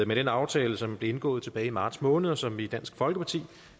med den aftale som blev indgået tilbage i marts måned og som vi i dansk folkeparti